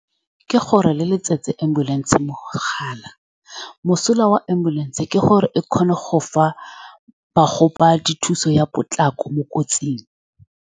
Ke gore le letsetse ambulance. Mogala mosola wa ambulance ke gore e kgona go fa ba gobadi thuso ya potlako mo kotsing.